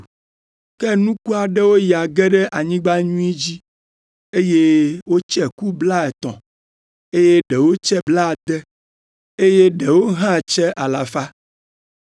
Ke nuku aɖewo ya ge ɖe anyigba nyui dzi, eye wotse ku blaetɔ̃, eye ɖewo tse blaade, eye ɖewo hã tse alafa.”